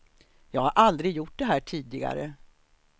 Jag har aldrig gjort det här tidigare.